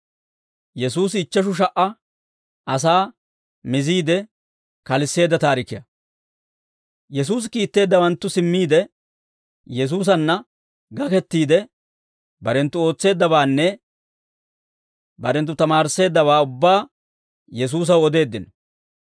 Yesuusi kiitteeddawanttu simmiide, Yesuusanna gakettiide, barenttu ootseeddabaanne barenttu tamaarisseeddabaa ubbaa Yesuusaw odeeddino.